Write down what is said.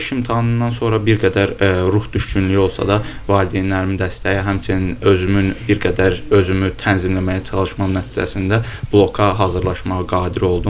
Buraxılış imtahanından sonra bir qədər ruh düşkünlüyü olsa da, valideynlərimin dəstəyi, həmçinin özümün bir qədər özümü tənzimləməyə çalışmam nəticəsində bloka hazırlaşmağa qadir oldum.